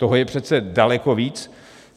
Toho je přece daleko víc.